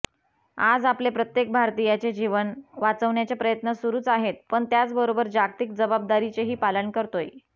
आज आपले प्रत्येक भारतीयाचे जीवन वाचवण्याचे प्रयत्न सुरुच आहेत पण त्याचबरोबर जागतिक जबाबदारीचेही पालन करतोय